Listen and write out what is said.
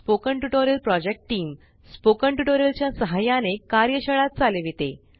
spoken tutorial project च्या सहाय्याने कार्यशाळा चालविते